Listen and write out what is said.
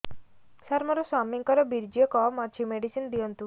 ସାର ମୋର ସ୍ୱାମୀଙ୍କର ବୀର୍ଯ୍ୟ କମ ଅଛି ମେଡିସିନ ଦିଅନ୍ତୁ